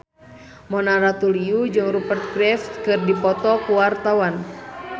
Mona Ratuliu jeung Rupert Graves keur dipoto ku wartawan